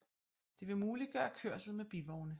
Det vil muliggøre kørsel med bivogne